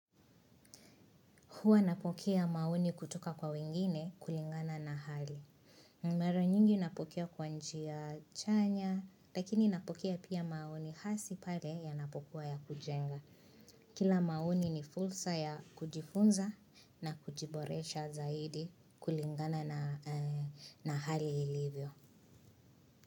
Huwa napokea maoni kutoka kwa wengine kulingana na hali. Mara nyingi napokea kwa njia chanya, lakini napokea pia maoni hasi pale yanapokuwa ya kujenga. Kila maoni ni fursa ya kujifunza na kujiboresha zaidi kulingana na hali ilivyo.